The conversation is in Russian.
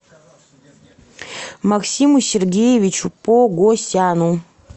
максиму сергеевичу погосяну